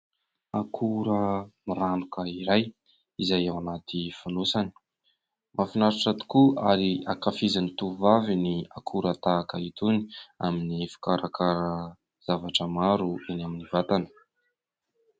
Akora miranoka iray izay ao anaty fonosany. Mahafinaritra tokoa ary ankafizin'ny tovovavy ny akora tahaka itony amin'ny fikarakarana zavatra maro eny amin'ny vatana.